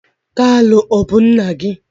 kalu bu nna gi?